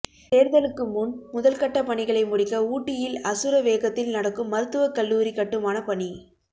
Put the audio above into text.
தேர்தலுக்கு முன் முதல்கட்ட பணிகளை முடிக்க ஊட்டியில் அசுர வேகத்தில் நடக்கும் மருத்துவக் கல்லூரி கட்டுமான பணி